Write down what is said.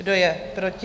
Kdo je proti?